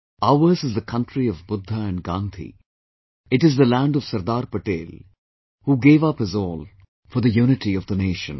Ours is the country of Buddha and Gandhi, it is the land of Sardar Patel who gave up his all for the unity of the nation